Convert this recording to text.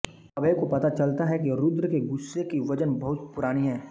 अभय को पता चलता है कि रुद्र के गुस्से की वजह बहुत पुरानी है